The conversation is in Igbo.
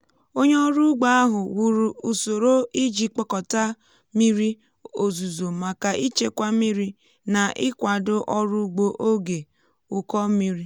onye ọrụ ugbo ahụ wuru usoro iji kpọkọta mmiri ozuzo maka ịchekwa mmiri na ịkwado ọrụ ugbo oge ụkọ mmiri.